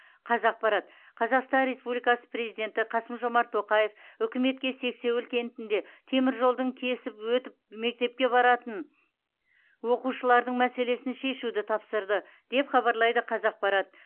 қазақпарат қазақстан республикасы президенті қасым жомарт тоқаев үкіметке сексеуіл кентінде теміржолдың кесіп өтіп мектепке баратын оқушылардың мәселесін шешуді тапсырды деп хабарлайды қазақпарат